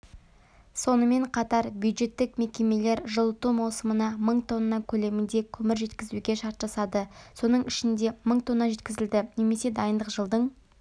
сонымен қатар бюджеттік мекемелер жылыту маусымына мың тонна көлемінде көмір жеткізуге шарт жасады соның ішінде мың тонна жеткізілді немесе дайындық жылдың